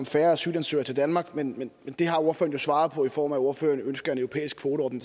færre asylansøgere til danmark men det har ordføreren jo svaret på i form af at ordføreren ønsker en europæisk kvoteordning